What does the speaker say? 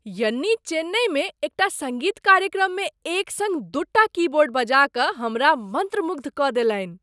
यन्नी चेन्नइमे एकटा सङ्गीत कार्यक्रममे एक सङ्ग दूटा कीबोर्ड बजा कऽ हमरा मन्त्रमुग्ध कऽ देलनि।